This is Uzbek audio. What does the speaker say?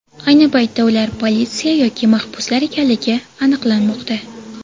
Ayni paytda ular politsiya yoki mahbuslar ekanligi aniqlanmoqda.